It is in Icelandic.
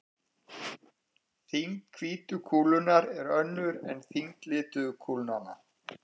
Þyngd hvítu kúlunnar er önnur en þyngd lituðu kúlnanna.